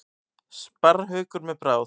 Sparrhaukur með bráð.